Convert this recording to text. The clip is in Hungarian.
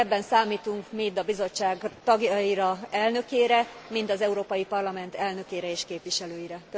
Ebben számítunk mind a Bizottság tagjaira, elnökére, mind az Európai Parlament elnökére és képviselőire.